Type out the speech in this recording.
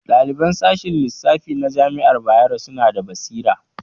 Ɗaliban sashen lissafi na jami'ar Bayero suna da basira